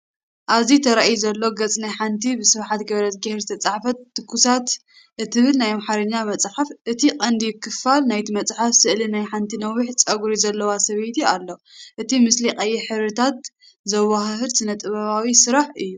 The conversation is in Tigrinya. ኣብዚ ተራእዩ ዘሎ ገጽ ናይ ሓንቲ ብስብሓት ገ/ሄር ዝተጻሕፈት "ትኩሳት" እትብል ናይ ኣምሓርኛ መጽሓፍ። እቲ ቀንዲ ክፋል ናይታ መጽሓፍ፡ ስእሊ ናይ ሓንቲ ነዊሕ ጸጉሪ ዘለዋ ሰበይቲ ኣሎ። እቲ ምስሊ ቀይሕ፡ ሕብርታት ዘወሃህድ ስነ-ጥበባዊ ስራሕ እዩ።